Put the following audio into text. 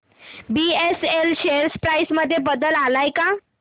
BSL share price मध्ये बदल आलाय का